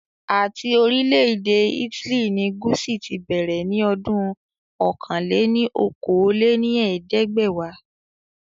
Ati orilẹ ede Italy ni Gucci ti bẹrẹ ni ọdún ọ̀kan-lé-ní-okòó lé ní ẹ̀ẹ́dẹ́gbẹ́wa